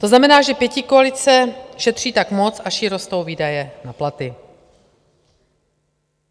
To znamená, že pětikoalice šetří tak moc, až jí rostou výdaje na platy.